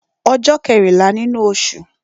Ọjọ́ kẹ́rìnlá nínú osù